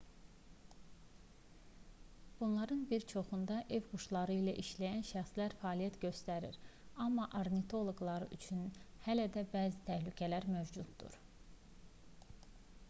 bunların bir çoxunda ev quşları ilə işləyən şəxslər fəaliyyət göstərir amma ornitoloqlar üçün hələ də bəzi təhlükələr mövcuddur